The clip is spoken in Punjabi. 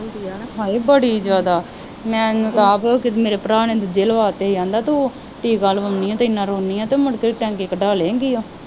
ਹਾਏ ਬੜੀ ਜ਼ਿਆਦਾ, ਮੈਨੂੰ ਤਾਂ ਆਪ ਕਿ ਮੇਰੇ ਭਰਾ ਨੇ ਦੂਜੇ ਲਵਾ ਦਿੱਤੇ, ਕਹਿੰਦਾ ਤੂੰ ਟੀਕਾ ਲਾਉਂਦੀ ਹੈ ਅਤੇ ਐਨਾ ਰੌਂਦੀ ਹੈ ਅਤੇ ਮੁੜਕੇ ਟਾਂਕੇ ਕਢਾ ਲਏਂਗੀ